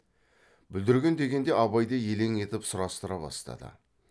бүлдірген дегенде абай да елең етіп сұрастыра бастады